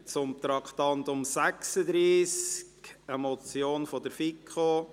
Wir fahren weiter und kommen zum Traktandum 36, einer Motion der FiKo: